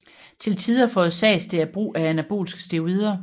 Til tider forårsages det af brug af anabolske steroider